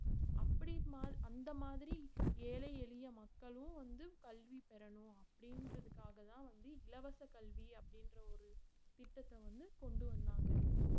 அப்படி மால்~ அந்த மாதிரி ஏழை எளிய மக்களும் வந்து கல்வி பெறணும் அப்படின்றதுகாகத்தான் வந்து இலவச கல்வி அப்படின்ற ஒரு திட்டத்தை வந்து கொண்டு வந்தாங்க